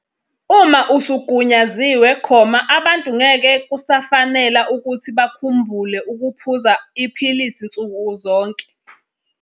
Uma usugunyaziwe, abantu ngeke kusafanela ukuthi bakhumbule ukuphuza iphilisi zonke izinsuku.